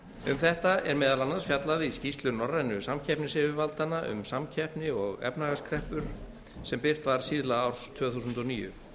um þetta er meðal annars fjallað í skýrslu norrænu samkeppnisyfirvaldanna um samkeppni og efnahagskreppur sem birt var síðla árs tvö þúsund og níu